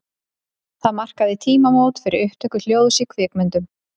Það markaði tímamót fyrir upptöku hljóðs í kvikmyndum.